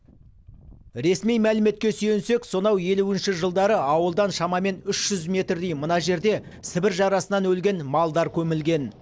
ресми мәліметке сүйенсек сонау елуінші жылдары ауылдан шамамен үш жүз метрдей мына жерде сібір жарасынан өлген малдар көмілген